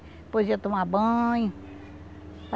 Depois ia tomar banho.